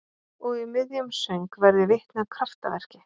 Og í miðjum söng verð ég vitni að kraftaverki.